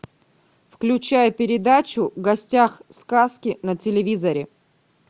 включай передачу в гостях сказки на телевизоре